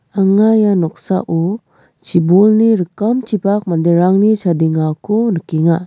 anga ia noksao chibolni rikamchipak manderangni chadengako nikenga.